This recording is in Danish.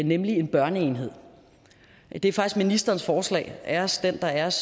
nemlig en børneenhed det er faktisk ministerens forslag æres den der æres